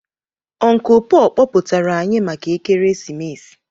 Uncle Paul kpọpụtara anyị maka ekeresimesi